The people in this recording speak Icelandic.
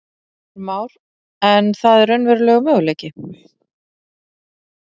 Heimir Már: En það er raunverulegur möguleiki?